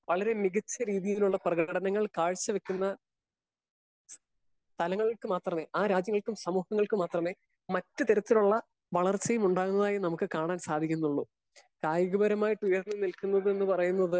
Speaker 1 വളരെ മികച്ച രീതിയിലുള്ള പ്രകടനങ്ങൾ കാഴ്ച വെക്കുന്ന സ്ഥലങ്ങൾക്ക് മാത്രമേ ആ രാജ്യങ്ങൾക്കും സമൂഹങ്ങൾക്കും മാത്രമേ മറ്റുതരത്തിലുള്ള വളർച്ചയും ഉണ്ടാകുന്നതായി നമുക്ക് കാണാൻ സാധിക്കുന്നുള്ളൂ. കായികപരമായിട്ട് ഉയർന്നു നിൽക്കുന്നത് എന്ന് പറയുന്നത്